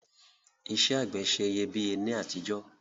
Isẹ́ àgbẹ̀ se iyebíye ni àtijọ́